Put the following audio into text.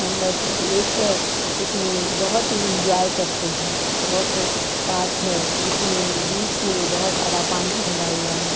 Membership लेकर इसमें बहुत ही एंजॉय करते हैं वाटर पार्क है जिसमें बीच में बहुत सारा पानी भरा हुआ है।